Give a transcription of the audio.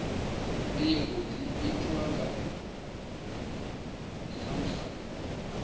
ndingo dzi itwa nga samsa